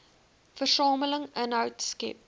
versamel inhoud skep